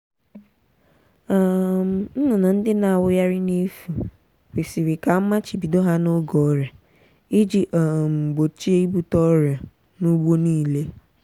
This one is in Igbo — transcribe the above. um nnụnụ ndị na-awụgharị n'efu kwesiri ka amachibido ha n'oge ọrịa iji um gbochie ibute ọrịa n'ugbo niile.